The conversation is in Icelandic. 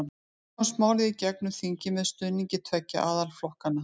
Þannig komst málið í gegn um þingið með stuðningi tveggja aðalflokkanna.